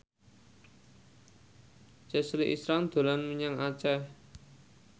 Chelsea Islan dolan menyang Aceh